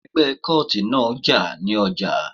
Ẹgbẹ́ kóòtì náà jà ní ọjà